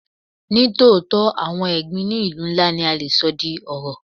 Ní tòótọ́, àwọn ẹ̀gbin ní ìlú ńlá ni a le sọ di ọrọ̀.